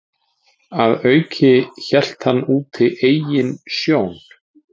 Að auki hélt hann úti eigin sjón